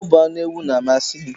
Ọ bu anu ewu na-amasi m.